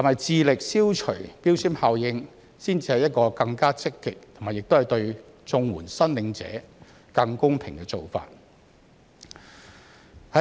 致力消除標籤效應是否才是更積極和對綜援申領者更公平的做法？